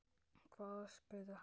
Hvaða orð? spurði hann.